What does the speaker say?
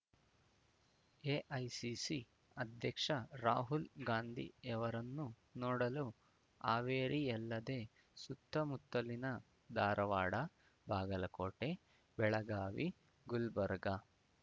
AICC ಅಧ್ಯಕ್ಷ ರಾಹುಲ್ ಗಾಂಧಿಯವರನ್ನು ನೋಡಲು ಹಾವೇರಿಯಲ್ಲದೆ ಸುತ್ತಮುತ್ತಲಿನ ಧಾರವಾಡ ಬಾಗಲಕೋಟೆ ಬೆಳಗಾವಿ ಗುಲ್ಬರ್ಗಾ